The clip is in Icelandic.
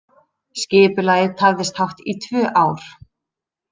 Skipulagið tafðist hátt í tvö ár